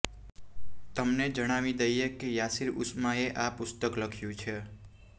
તમને જણાવી દઈએ કે યાસિર ઉસ્માને આ પુસ્તક લખ્યું છે